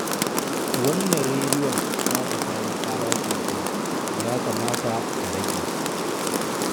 Wannan rediyon taka ta yi ƙara sosai, ya kamata ka rage.